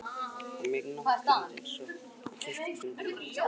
Hann var mikill náttúruunnandi eins og ég og við keyptum saman Bíldsey á Breiðafirði.